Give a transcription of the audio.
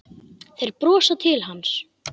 Þeir brosa til hans.